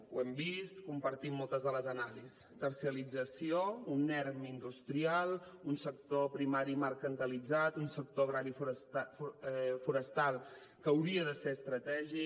ho hem vist compartim moltes de les anàlisis terciarització un erm industrial un sector primari mercantilitzat un sector agrari i forestal que hauria de ser estratègic